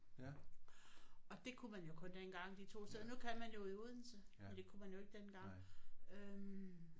Og det kunne man jo kun dengang de to steder nu kan man jo i Odense men det kunne man jo ikke dengang øh